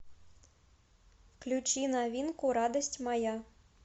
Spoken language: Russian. включи новинку радость моя